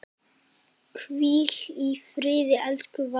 Hvíl í friði elsku Valdís.